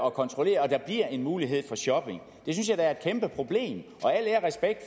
at kontrollere og der bliver en mulighed for shopping det synes jeg da er et kæmpeproblem og al ære